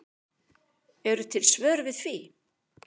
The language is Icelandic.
Eru til svör við því?